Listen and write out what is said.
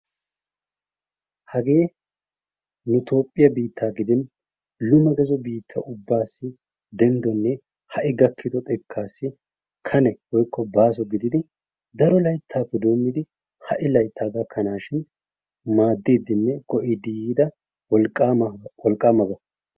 hagee nu toophiya biitaaa giddin lume gazo biitaasi kane woykko baaso gididi madiidinne go'iidi yiida wolqaamaba.